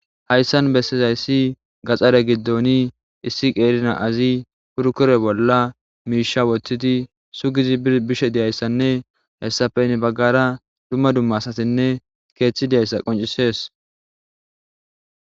hayssan bessizayssi gaxxare giddoni issi qeerna azi purkure bolla miisha wottidi sugizi bishe diyayssanne hessafe ni baggara dumma dumma asatinne keeththi deyayssa qoncisees